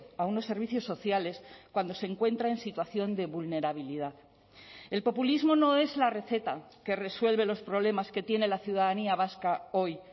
a unos servicios sociales cuando se encuentra en situación de vulnerabilidad el populismo no es la receta que resuelve los problemas que tiene la ciudadanía vasca hoy